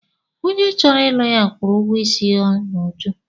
Onye chọrọ ịlụ ya kwụrụ ụgwọ isi ya n'uju.